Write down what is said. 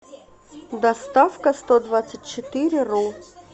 доставкастодвадцатьчетыреру